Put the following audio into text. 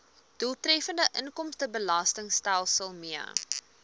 doeltreffende inkomstebelastingstelsel mee